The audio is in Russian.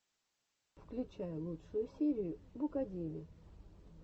включай лучшую серию букадеми